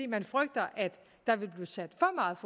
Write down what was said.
man frygter at der vil blive sat